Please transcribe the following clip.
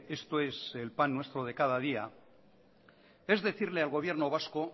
esto es el pan nuestro de cada día es decirle al gobierno vasco